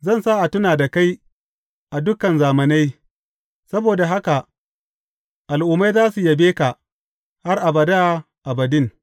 Zan sa a tuna da kai a dukan zamanai; saboda haka al’ummai za su yabe ka har abada abadin.